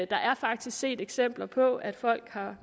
der er faktisk set eksempler på at folk har